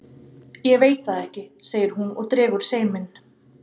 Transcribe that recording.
Ég veit það ekki, segir hún og dregur seiminn.